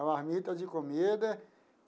A marmita de comida.